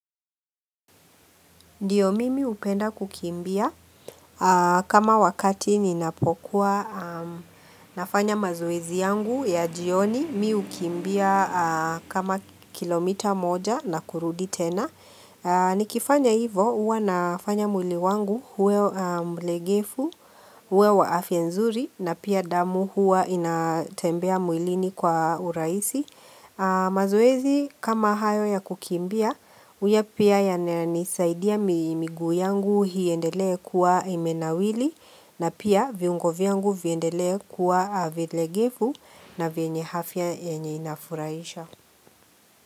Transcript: Ndiyo mimi hupenda kukimbia kama wakati ninapokuwa nafanya mazoezi yangu ya jioni mimi hukimbia kama kilomita moja na kurudi tena. Nikifanya hivo huwa nafanya mwili wangu uwe mlegevu, uwe wa afya nzuri na pia damu huwa inatembea mwilini kwa urahisi. Mazoezi kama hayo ya kukimbia huwa pia yananisaidia miguu yangu iendelee kuwa imenawili na pia viungo vyangu viendelee kuwa vilegevu na vyenye afya yenyewe inafurahisha.